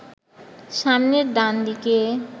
সামনের ডান দিকে